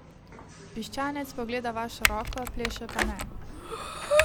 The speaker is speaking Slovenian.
Piščanec pogleda vašo roko, pleše pa ne.